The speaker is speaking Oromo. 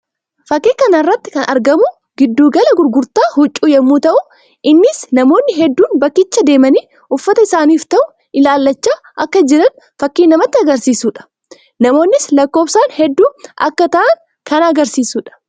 Fakkii kana irratti kan argamu giddu gala gurgurtaa huccuu yammuu ta'u; innis namoonni hedduun bakkicha deemanii uffata isaaniif ta'u ilaallachaa akka jiran fakkii namatti agarsiisuu dha. Namoonnis lakkoofsaan hedduu akka ta'an kan agarsiisuu dha.